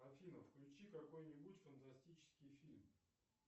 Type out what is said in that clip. афина включи какой нибудь фантастический фильм